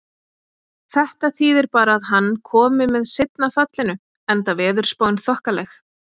Þetta þýði bara að hann komi með seinna fallinu, enda veðurspáin þokkaleg.